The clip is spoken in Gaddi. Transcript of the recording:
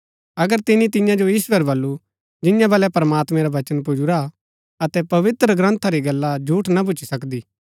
अगर तिनी तियां जो ईश्‍वर बल्लू जियां बलै प्रमात्मैं रा बचन पुजुरा अतै पवित्रग्रन्था री गल्ल झूठ ना भूच्ची सकदी